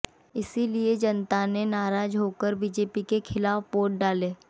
इसलिए जनता ने नाराज़ होकर बीजेपी के खिलाफ़ वोट डाले